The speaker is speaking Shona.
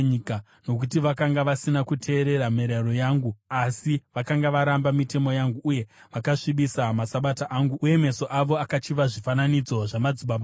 nokuti vakanga vasina kuteerera mirayiro yangu asi vakanga varamba mitemo yangu uye vakasvibisa maSabata angu, uye meso avo akachiva zvifananidzo zvamadzibaba avo.